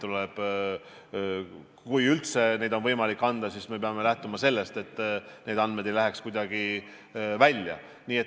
Kui üldse neid on võimalik anda, siis me peame lähtuma sellest, et need andmed ei läheks kuidagi välja.